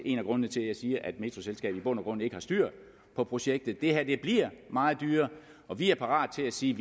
en af grundene til at jeg siger at metroselskabet i bund og grund ikke har styr på projektet det her bliver meget dyrere og vi er parat til at sige